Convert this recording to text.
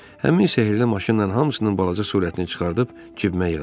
Həmin sehrli maşınla hamısının balaca surətini çıxarıb cibimə yığacam.